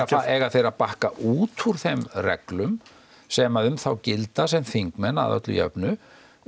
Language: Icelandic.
eiga þeir að bakka út úr þeim reglum sem um þá gilda sem þingmenn að öllu jöfnu